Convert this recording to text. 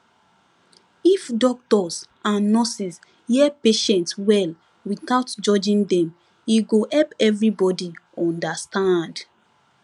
if doctors and nurses hear patient well without judging dem e go help everybody understand